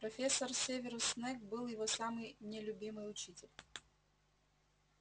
профессор северус снегг был его самый нелюбимый учитель